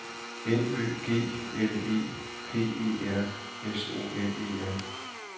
N Ø G L E P E R S O N E R